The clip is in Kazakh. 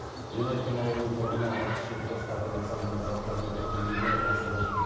янайкин ауылының тұрғыны алпыс жеті жастағы александр запрометовтің үйіне баса көктеп